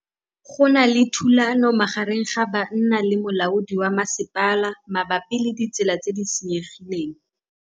Go na le thulanô magareng ga banna le molaodi wa masepala mabapi le ditsela tse di senyegileng.